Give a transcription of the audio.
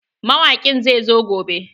Mawaƙin zai zo gobe.